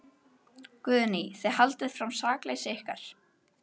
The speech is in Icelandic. Guðný: Þið haldið fram sakleysi ykkar?